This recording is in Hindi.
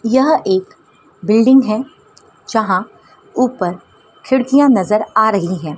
यह एक बिल्डिंग है जहां ऊपर खिड़कियां नजर आ रही हैं।